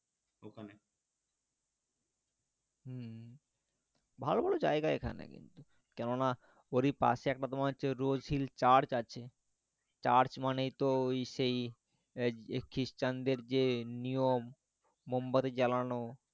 ভালো ভালো জায়গা এইখানে কিন্তু কেননা ওরই পাশে তোমার হচ্ছে একটা rose hill church আছে church মানেই তো ওই সেই যে খ্রিস্টানদের যে নিয়ম মোমবাতি জ্বালানো,